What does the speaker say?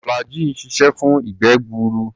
Flagggyl ń ṣiṣẹ́ fún ìgbé-gbuur.